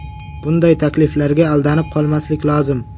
Bunday takliflarga aldanib qolmaslik lozim.